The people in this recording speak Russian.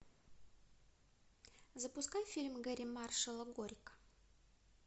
запускай фильм гэрри маршалла горько